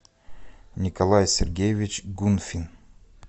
николай сергеевич гунфин